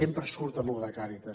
sempre surt amb això de càritas